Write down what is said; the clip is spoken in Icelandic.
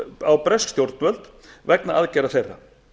á bresk stjórnvöld vegna aðgerða þeirra